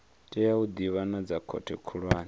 tea u ḓivhonadza khothe khulwane